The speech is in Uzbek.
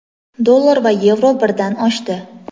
Dollar va yevro birdan oshdi.